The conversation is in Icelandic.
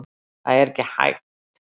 Það er ekki hægt